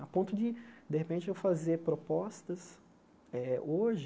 A ponto de, de repente, eu fazer propostas eh hoje,